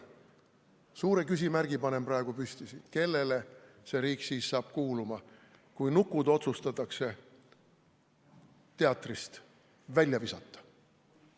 Suure küsimärgi panen praegu siin püsti: kellele see riik siis kuuluma hakkab, kui nukud otsustatakse teatrist välja visata?